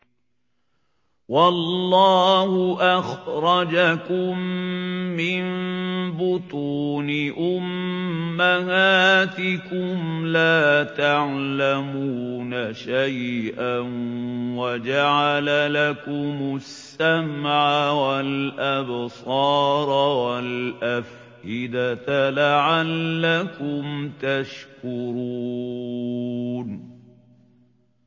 وَاللَّهُ أَخْرَجَكُم مِّن بُطُونِ أُمَّهَاتِكُمْ لَا تَعْلَمُونَ شَيْئًا وَجَعَلَ لَكُمُ السَّمْعَ وَالْأَبْصَارَ وَالْأَفْئِدَةَ ۙ لَعَلَّكُمْ تَشْكُرُونَ